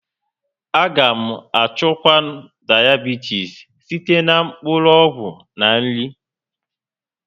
A ga echukwanwu Diabitis site na mkpụrụ ọgwụ na nri